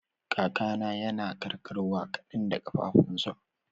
Kakana yana karkarwa kadan da kafafunsa.